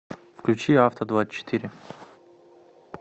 включи авто двадцать четыре